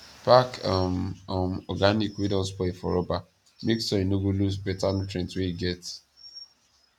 pack um um organic wey don spoil for rubber make soil no go lose beta nutrient wey e get